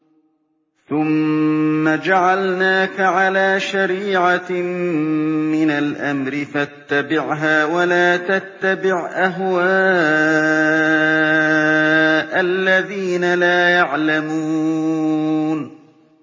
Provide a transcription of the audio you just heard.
ثُمَّ جَعَلْنَاكَ عَلَىٰ شَرِيعَةٍ مِّنَ الْأَمْرِ فَاتَّبِعْهَا وَلَا تَتَّبِعْ أَهْوَاءَ الَّذِينَ لَا يَعْلَمُونَ